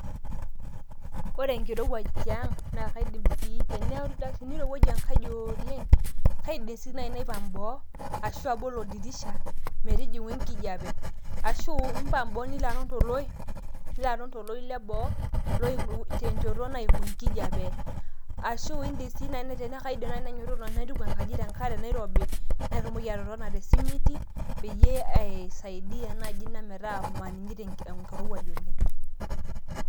Ore enkirowuaj tiang naa kaidm sii ,tenirowuaju enkaji ooleng , kaidim sii naipang mboo ashu abol oldirisha metijingu enkijape ashu impang boo nilo aton toloip nilo aton toloip leboo oimu tenchoto naimu enkijape ashu indim sii nai tenakaidim naji naituku enkaji tenkare nairobi ,natumoki atotona te simiti peyie aisaia naji ina metaa maningito enkirowuaj oleng